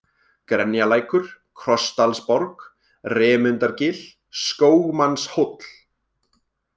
Grenjalækur, Krossdalsborg, Remundargil, Skógmannshóll